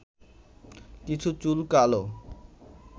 কিছু চুল কালো